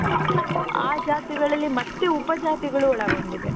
ಆ ಜಾತಿಗಳಲ್ಲಿ ಮತ್ತೆ ಉಪ ಜಾತಿಗಳು ಒಳಗೊಂಡಿದೆ